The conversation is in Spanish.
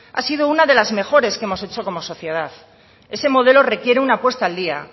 ha sido una de las mejores que hemos hecho como sociedad ese modelo requiere una puesta al día